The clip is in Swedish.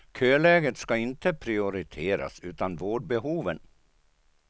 Köläget ska inte prioriteras, utan vårdbehoven.